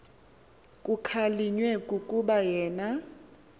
kukhalinywe kukuba yena